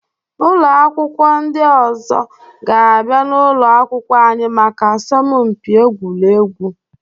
Ụlọ akwụkwọ ndị ọzọ ga-abịa n'ụlọ akwụkwọ anyị maka asọmpi egwuregwu.